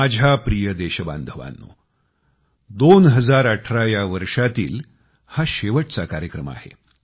माझ्या प्रिय देशबांधवांनो 2018 या वर्षातील हा शेवटचा कार्यक्रम आहे